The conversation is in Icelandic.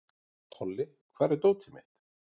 Tolli, hvar er dótið mitt?